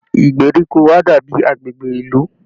Ìgbèríko á dàbí agbègbè ìlú